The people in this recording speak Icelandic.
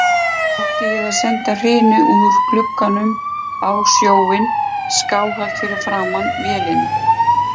Átti ég að senda hrinu úr glugganum á sjóinn skáhallt fyrir framan vélina